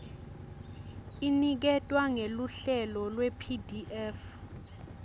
iniketwa ngeluhlelo lwepdf